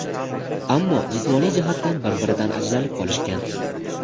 ammo jismoniy jihatdan bir-biridan ajralib qolishgan.